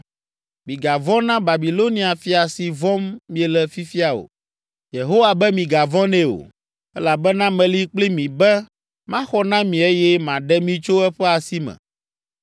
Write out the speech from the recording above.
Migavɔ̃ na Babilonia fia si vɔ̃m miele fifia o. Yehowa be migavɔ̃ nɛ o, elabena meli kpli mi be maxɔ na mi eye maɖe mi tso eƒe asi me.